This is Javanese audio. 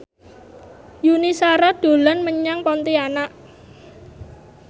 Yuni Shara dolan menyang Pontianak